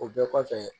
O bɛɛ kɔfɛ